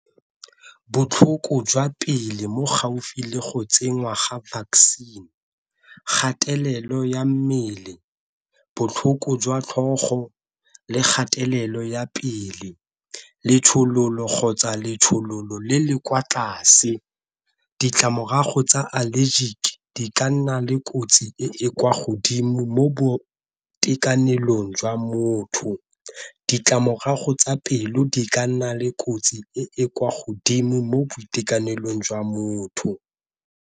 Botlhoko jwa pele mo gaufi le go tsenngwa ga vaccine, kgatelelo ya mmele botlhoko, jwa tlhogo le kgatelelo ya pele. Letshololo kgotsa letshololo le le kwa tlase ditlamorago tsa allergic di ka nna le kotsi e e kwa godimo mo boitekanelong jwa motho, ditlamorago tsa pelo di ka nna le kotsi e e kwa godimo mo boitekanelong jwa motho.